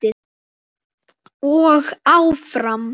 Og áfram.